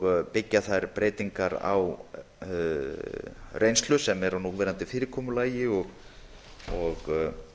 og byggja þær breytingar á reynslu sem er af núverandi fyrirkomulagi og